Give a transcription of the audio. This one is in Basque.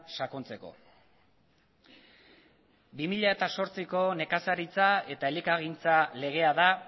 sakontzeko bi mila zortziko nekazaritza eta elikagaigintza legea da